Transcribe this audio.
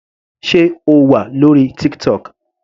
Sé O wà lórí TikTok.